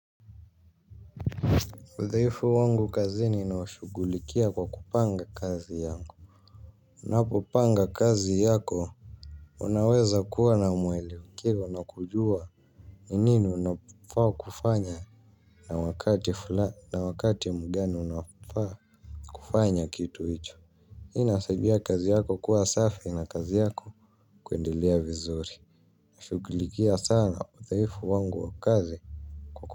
Udhaifu wangu kazini ninaushughulikia kwa kupanga kazi yangu. Unapopanga kazi yako unaweza kuwa na mwelekeo na kujua ni nini unapofaa kufanya na wakati mgani unaofaa kufanya kitu hicho hii inasaidia kazi yako kuwa safi na kazi yako kuendelea vizuri nashughulikia sana udhaifu wangu wa kazi.